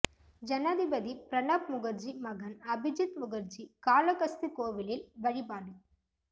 ஜனாதிபதி பிரணாப் முகர்ஜி மகன் அபிஜித் முகர்ஜி காளகஸ்தி கோவிலில் வழிபாடு